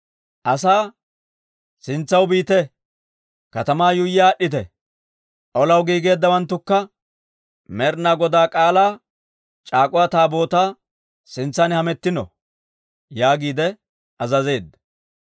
Asaa, «Sintsaw biite; katamaa yuuyyi aad'd'ite; olaw giigeeddawanttukka Med'ina Godaa K'aalaa c'aak'uwa Taabootaa sintsan hamettino» yaagiide azazeedda.